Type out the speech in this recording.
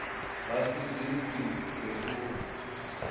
nga si ḓi vhidze uri